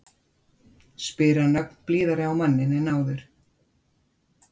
spyr hann ögn blíðari á manninn en áður.